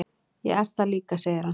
"""Ég er það líka, segir hann."""